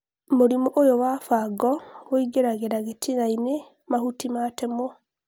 Mũrimũ ũyũ wa fango ũingĩragĩla gĩtinainĩ mahuti matemwo